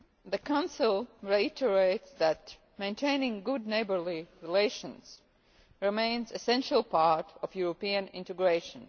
The Council reiterates that maintaining good neighbourly relations remains an essential part of European integration.